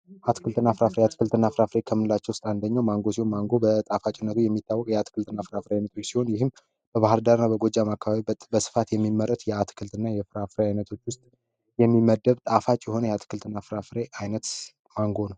አትክልትና ፍራፍሬ አትክልትና ፍራፍሬ ከምንላቸው ውስጥ አንደኛው ማንጎ ሲሆን፤ ማንጎ በጣፋጭነቱ የሚታወቅ የአትክልትና ፍራፍሬዎች አይነት ሲሆን፤ ይህም በባህር ዳር በጎጃም አካባቢ በስፋት የሚመረት የአትክልትና የፍራፍሬ አይነት ውስጥ የሚመደብ ጣፋጭ የሆነ የአትክልትና ፍራፍሬ አይነት ማንጎ ነው።